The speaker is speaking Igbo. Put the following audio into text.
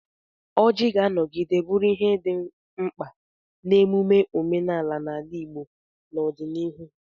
Ọjị ga-anọgide bụrụ ihe dị mkpa n'emume ọdịnala n'ala Igbo n'ọdịnihu: